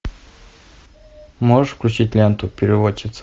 можешь включить ленту переводчица